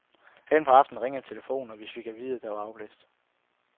Hen på aftenen ringede telefonen, og vi fik at vide, at det var afblæst.